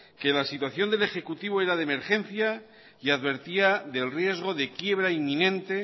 que la situación del ejecutivo era de emergencia y advertía del riesgo de quiebra inminente